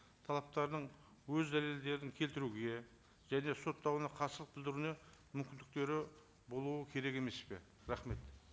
талаптарының өз дәлелдерін келтіруге және соттауына қарсылық білдіруіне мүмкіндіктері болуы керек емес пе рахмет